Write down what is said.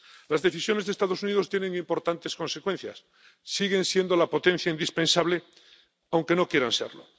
Las decisiones de los Estados Unidos tienen importantes consecuencias siguen siendo la potencia indispensable, aunque no quieran serlo.